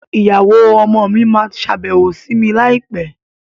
Ìyàwó ọmọ mi máa sábẹ́wó sí mi láì pé